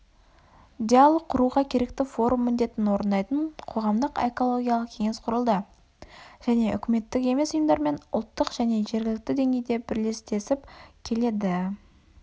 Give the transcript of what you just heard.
диалог құруға керекті форум міндетін орындайтын қоғамдық экологиялық кеңес құрылды және үкіметтік емес ұйымдармен ұлттық және жергілікті деңгейде бірлестесіп келеді